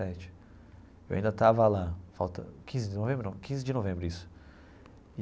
Sete eu ainda estava lá, falta, quinze de novembro não, quinze de novembro isso.